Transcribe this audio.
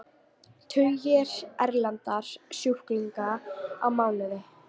Tugir erlendra sjúklinga á mánuði